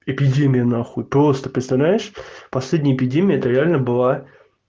эпидемия нахуй просто представляешь последняя эпидемия это реально была